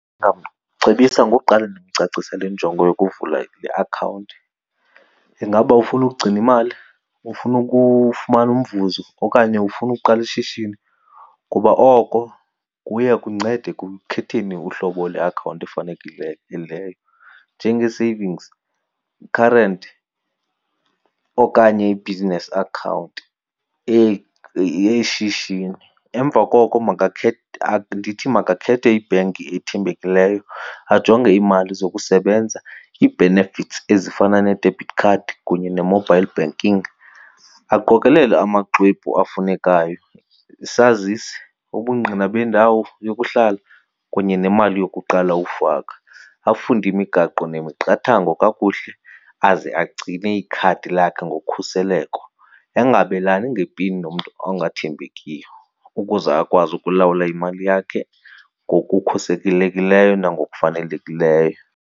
Ndingamcebisa ngoqala ndimcacisele injongo yokuvula iakhawunti. Ingaba ufuna ukugcina imali, ufuna ukufumana umvuzo okanye ufuna uqala ishishini? Kuba oko kuya kumnceda ekukhetheni uhlobo leakhawunti njengee-savings, i-current okanye i-business account, eyeshishini. Emva koko ndithi makakhethe ibhenki ethembekileyo ajonge iimali zokusebenza ii-benefits ezifana ne-debit card kunye ne-mobile banking. Aqokelele amaxwebhu afunekayo, isazisi, ubungqina bendawo yokuhlala kunye nemali yokuqala ufaka. Afunde imigaqo nemiqathango kakuhle aze agcine ikhadi lakhe ngokhuseleko, angabelani ngepini nomntu ongathembekiyo ukuze akwazi ukulawula imali yakhe ngokukhusekilekileyo nangokufanelekileyo.